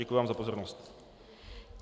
Děkuji vám za pozornost.